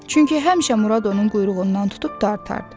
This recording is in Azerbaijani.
Çünki həmişə Murad onun quyruğundan tutub dartardı.